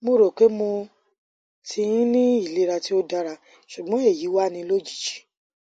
mo ro pé mo ti n ni ilera ti o dara sugbon eyi wa ni lojiji